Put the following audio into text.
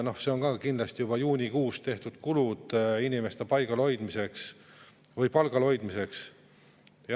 Need on ka kindlasti juba juunikuus tehtud kulud inimeste palgal hoidmiseks.